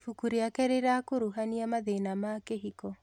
Ibuku rĩake rĩrakuruhania mathĩna ma kĩhiko